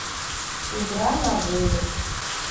игра навылет